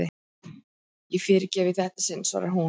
Ég fyrirgef í þetta sinn, svarar hún.